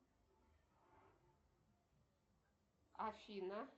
афина